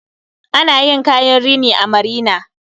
Ana yin kayan rini a marina